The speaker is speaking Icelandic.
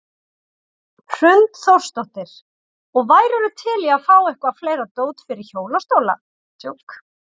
Hrund Þórsdóttir: Og værirðu til í að fá eitthvað fleira dót fyrir hjólastóla?